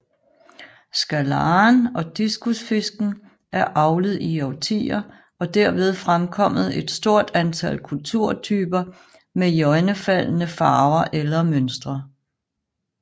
Scalaren og Discusfisken er avlet i årtier og derved fremkommet et stort antal kulturtyper med iøjnefaldende farver eller mønstre